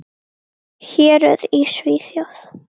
Héruð í Svíþjóð